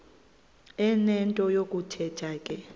enento yokuthetha ke